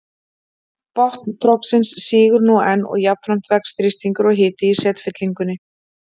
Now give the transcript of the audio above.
Botn trogsins sígur nú enn og jafnframt vex þrýstingur og hiti í setfyllingunni.